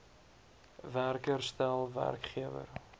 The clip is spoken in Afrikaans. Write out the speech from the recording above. werker stel werkgewer